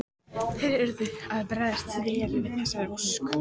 Þeir urðu að bregðast vel við þessari ósk.